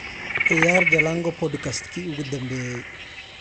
ciyaar jalango podcast-kii ugu dambeeyay